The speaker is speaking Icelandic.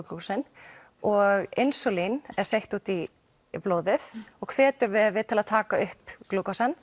og insúlín er sent út í blóðið og hvetur vefi til að taka upp